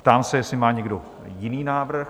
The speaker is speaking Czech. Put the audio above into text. Ptám se, jestli má někdo jiný návrh?